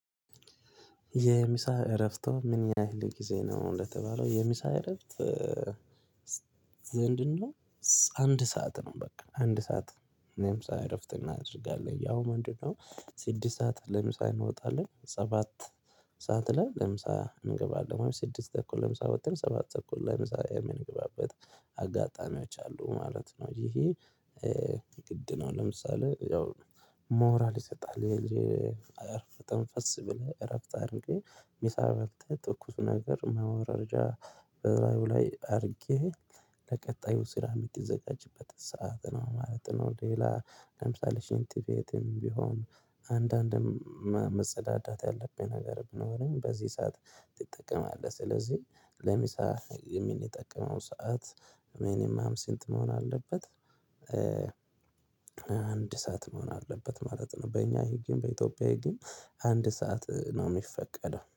የምሳ እረፍት ምን ያህል ጊዜ ነው? እንደተባለው የምሳ እረፍት እኛ አንድ ሰዓት ነው በቃ አንድ ሰዓት እኔም ሰዓት እረፍት እናደርጋለን ያው ምንድነው ስድስት ሰዓት ለምሳ እንወጣለን ሰባት ሰዓት ላይ ለምሳ እንገባለን ስድስት ተኩል ለምሳ ለምሳሌ ሰባት ተኩል ለምሳሌ የምንግባበት አጋጣሚዎች አሉ ማለት ነው ይሄ ግድ ነው ለምሳሌ ያው ሞራል ይሰጣል የአረፈት ተንፈስ ብለህ እረፍት አድርጌ ሚሳ በልተ ትኩሱ ነገር ማወራረጃ እላዩ ላይ አድርጌ ለቀጣዩ ስራ የምትዘጋጅበት ሰዓት ነው ማለት ነው ሌላ ለምሳሌ ሽንትቤትም ቢሆን አንዳንድም መጸዳዳት ያለብኝ ነገር ብኖረኝ በዚህ ሰዓት ትጠቀማለህ ስለዚህ ለሚሳ የሚንጠቅመው ሰዓት ምኒመም ስንት መሆን አለበት? አንድ ሰዓት መሆን አለበት ማለት ነው በእኛ ህግም በኢትዮጵያ ህግም አንድ ሰዓት ነው የሚፈቀደው